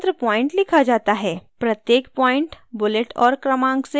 प्रत्येक point bullet और क्रमांक से शुरू करें